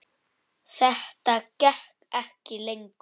Þetta gekk ekki lengur.